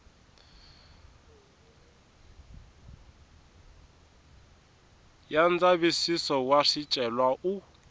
ya ndzavisiso wa swicelwa u